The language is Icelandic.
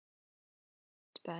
Þú varst best.